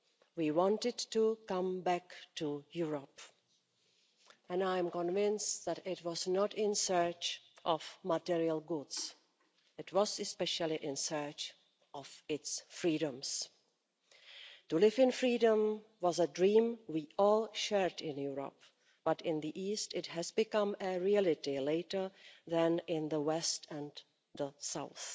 We wanted to come back to Europe, and I am convinced that it was not in search of material goods. It was especially in search of its freedoms. To live in freedom was a dream we all shared in Europe, but in the east it has become a reality later than in the west and the south.